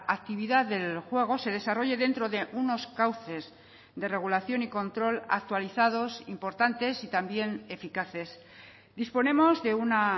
actividad del juego se desarrolle dentro de unos cauces de regulación y control actualizados importantes y también eficaces disponemos de una